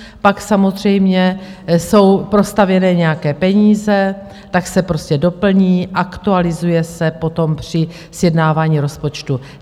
Pak samozřejmě jsou prostavěné nějaké peníze, tak se prostě doplní, aktualizuje se potom při sjednávání rozpočtu.